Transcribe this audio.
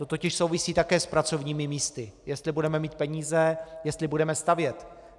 To totiž souvisí také s pracovními místy, jestli budeme mít peníze, jestli budeme stavět.